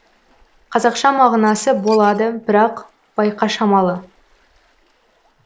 қазақша мағынасы болады бірақ байқа шамалы